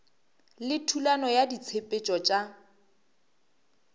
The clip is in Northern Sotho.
le thulano ya ditshepetšo tša